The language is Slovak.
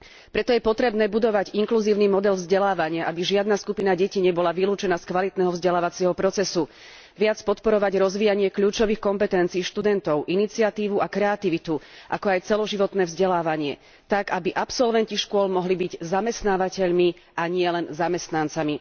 Preto je potrebné budovať inkluzívny model vzdelávania, aby žiadna skupina detí nebola vylúčená z kvalitného vzdelávacieho procesu, viac podporovať rozvíjanie kľúčových kompetencií študentov, iniciatívu a kreativitu, ako aj celoživotné vzdelávanie tak, aby absolventi škôl mohli byť zamestnávateľmi, a nielen zamestnancami.